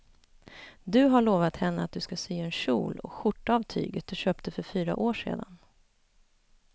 Du har lovat henne att du ska sy en kjol och skjorta av tyget du köpte för fyra år sedan.